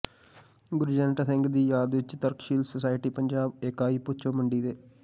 ਗੁਰਜੰਟ ਸਿੰਘ ਦੀ ਯਾਦ ਵਿਚ ਤਰਕਸ਼ੀਲ ਸੁਸਾਇਟੀ ਪੰਜਾਬ ਇਕਾਈ ਭੁੱਚੋ ਮੰਡੀ ਦੇ